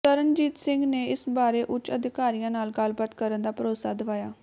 ਤਰਨਜੀਤ ਸਿੰਘ ਨੇ ਇਸ ਬਾਰੇ ਉੱਚ ਅਧਿਕਾਰੀਆਂ ਨਾਲ ਗੱਲਬਾਤ ਕਰਨ ਦਾ ਭਰੋਸਾ ਦਵਾਇਆ